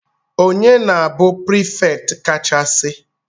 Ọnye na-bụ prefect ka cha si?